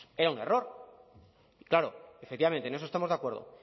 era un error claro efectivamente en eso estamos de acuerdo